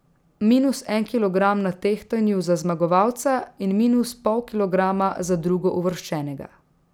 Minus en kilogram na tehtanju za zmagovalca in minus pol kilograma za drugouvrščenega.